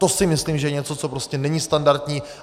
To si myslím, že je něco, co prostě není standardní.